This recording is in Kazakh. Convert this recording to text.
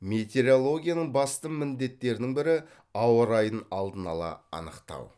метеорологияның басты міндеттерінің бірі ауа райын алдын ала анықтау